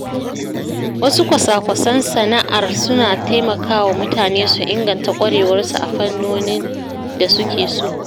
Wasu kwasa-kwasan sana’ar suna taimakawa mutane su inganta ƙwarewarsu a fannonin da suke so.